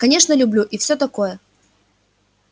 конечно люблю и все такое